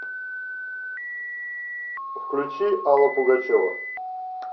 включи алла пугачева